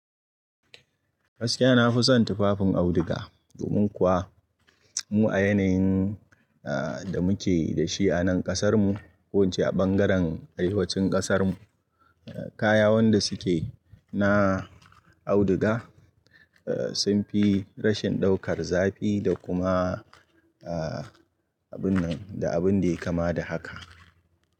Gaskiya na fi son tufafin auduga domin kuwa mu a yanayin da muke da shi a nan kasar mu ko ince a ɓangaren arewacin kasar mu kayan wanda suke na auduga sun fi rashin ɗaukar zafi da kuma abun da abun da ya kama da haka.